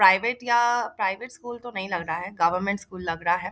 Private या private school तो नहीं लग रहा है गवर्नमेंट स्कूल लग रहा है।